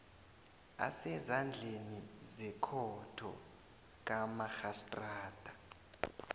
asezandleni zekhotho kamarhistrada